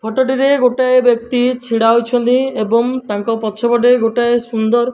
ଫୋଟଟିରେ ଗୋଟାଏ ବ୍ଯକ୍ତି ଛିଡା ହୋଇଛନ୍ତି ଏବଂ ତାଙ୍କ ପଛପଟେ ଗୋଟାଏ ସୁନ୍ଦର।